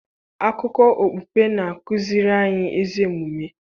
Akụkọ okpukpe na-akụziri anyị ezi omume